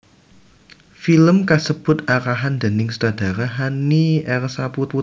Film kasebut arahan déning sutradara Hanny R Saputra